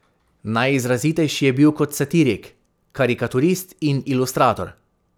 Najizrazitejši je bil kot satirik, karikaturist in ilustrator.